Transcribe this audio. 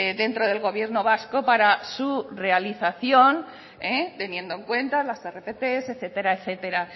dentro del gobierno vasco para su realización teniendo en cuenta las rpt etcétera etcétera